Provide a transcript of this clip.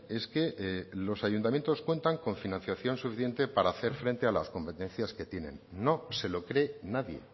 es que los ayuntamientos cuentan con financiación suficiente para hacer frente a las competencias que tienen no se lo cree nadie